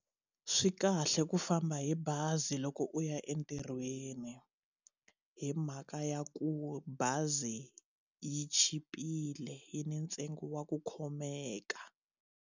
Swi kahle ku famba hi bazi loko u ya entirhweni hi mhaka ya ku bazi yi chipile yi ni ntsengo wa ku khomeka.